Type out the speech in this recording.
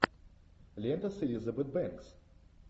лента с элизабет бэнкс